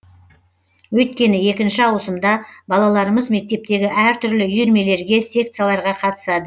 өйткені екінші ауысымда балаларымыз мектептегі әртүрлі үйірмелерге секцияларға қатысады